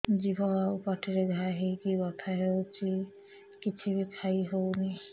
ଜିଭ ଆଉ ପାଟିରେ ଘା ହେଇକି ବଥା ହେଉଛି କିଛି ବି ଖାଇହଉନି